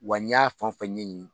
Wa n y'a fɛn o fɛn ɲɛɲini